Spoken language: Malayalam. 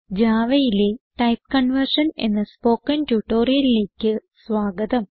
Javaയിലെ ടൈപ്പ് കൺവേർഷൻ എന്ന സ്പോകെൻ ട്യൂട്ടോറിയലിലേക്ക് സ്വാഗതം